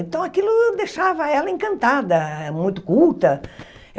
Então, aquilo deixava ela encantada, muito culta.